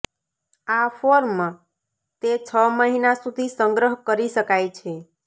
આ ફોર્મ તે છ મહિના સુધી સંગ્રહ કરી શકાય છે